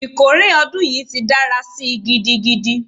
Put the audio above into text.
Ikore odun yi ti dara si gidigidi!